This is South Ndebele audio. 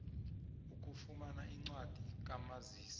ukufumana incwadi kamazisi